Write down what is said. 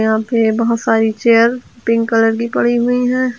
यहां पे बहोत सारी चेयर पिंक कलर की पड़ी हुई है।